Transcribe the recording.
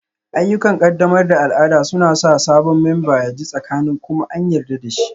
Ayyukan ƙaddamar da al'ada suna sa sabon memba ya ji tsakanin kuma an yarda da shi